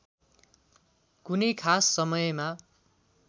कुनै खास समयमा